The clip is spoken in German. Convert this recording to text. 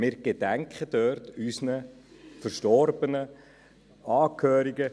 Wir gedenken dort unserer Verstorbenen, Angehörigen.